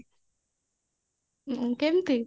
କେମତି